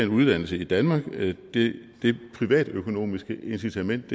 uddannelse i danmark det privatøkonomiske incitament